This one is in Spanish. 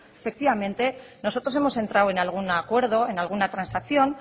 efectivamente nosotros hemos entrado en algún acuerdo en alguna transacción